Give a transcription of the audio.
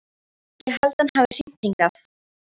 Ég held að hann hafi hringt hingað.